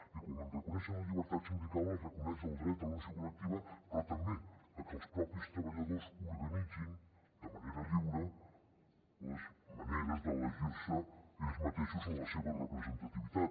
i com que reconeixen la llibertat sindical es reconeix el dret a la negociació col·lec tiva però també a que els propis treballadors organitzin de manera lliure les maneres d’elegir se ells mateixos en la seva representativitat